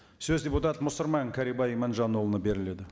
сөз депутат мұсырман кәрібай иманжанұлына беріледі